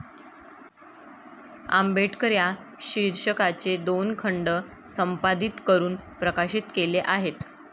आंबेडकर ' या शीर्षकाचे दोन खंड संपादित करून प्रकाशित केले आहेत.